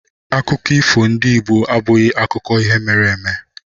Akụkọ ifo ndị Igbo abụghị akụkọ ihe mere eme